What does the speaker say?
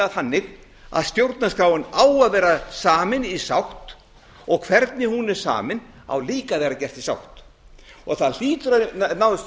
þannig að stjórnarskráin á að vera samin í sátt og hvernig hún er samin á líka að vera gert í sátt það hlýtur að nást